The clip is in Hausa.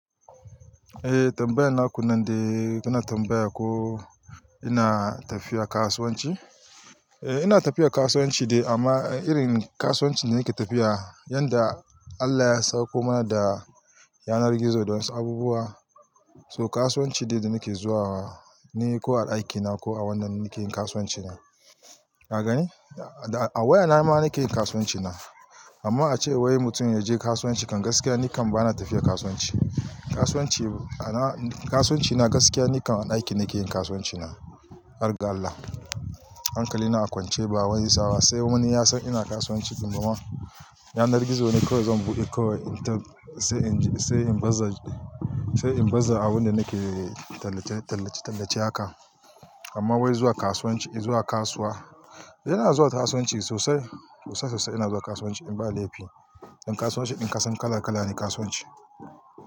Eh tambayar naku nan dai, kana tambaya ko ina tafiya kasuwanci? Eh ina tafiya kasuwanci dai amma irin kasuwanci da nake tafiya, yanda Allah ya sauko mana da yanar gizo don wasu abubuwa, to kasuwanci dai da nake zuwa ne ko a ɗakina ko a wannan nake yin kasuwanci na. Ka gani? A wayana ma na ke yin kasuwanci na. Amma a ce wai mutum ya je kasuwanci kan gaskiya nikan bana tafiya kasuwanci. Kasuwanci, kasuwanci na gaskiya nikan a ɗaki nake yin kasuwanci na, hargai Allah. Hankali na a kwance ba wani tsawa, sai wani ya san ina kasuwanci kuma yanar gizo ne kawai zan buɗe kawai in tabb sai in je sai in baza, sai in baza abin da nake tallace-tallace haka. Amma wai zuwa kasuwanci, zuwa kasuwa, yana zuwa kasuwanci sosai. Sosai sosai yana zuwa kasuwanci in ba laifi. Dan kasuwanci din ka san kala kala ne kasuwanci.